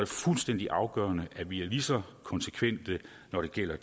fuldstændig afgørende at vi er lige så konsekvente når det gælder